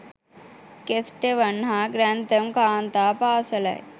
Kesteven හා Grantham කාන්තා පාසැලයි